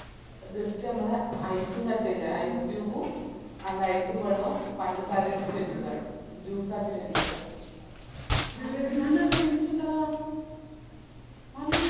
just ഞമ്മളെ ice ഉം കട്ട ഇല്ലേ ice cube ഉം നല്ല ice ബെള്ളോം പഞ്ചസാരയും ഇട്ടിറ്റ് അടിക്കുവ juice ആക്കിറ്റ് അടിക്കുവ നല്ല taste ഇണ്ടെടാ നല്ല